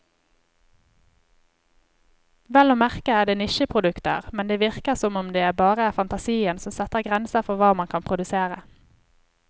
Vel å merke er det nisjeproduksjoner, men det virker som om det bare er fantasien som setter grenser for hva man kan produsere.